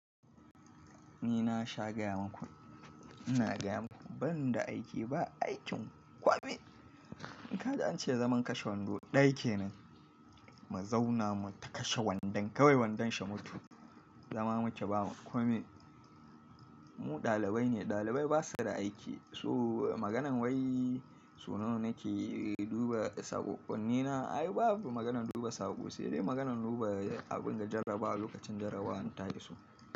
Ni na sha gaya maku, ina gaya maku ban da aiki ba, aikin kwame. In ka ji an ce zaman kashe wando, ɗaya kenan, mazauna mu ta kashe wandon, kawai wandon shi mutu, zama muke bamu kwame. Mu ɗalibai ne, ɗalibai ba su da aiki. So maganan wai so nawa nake duba saƙoƙƙonni na ai babu maganan duba saƙo, sai dai maganan duba abin ga jaraba lokacin jarabawan ta iso.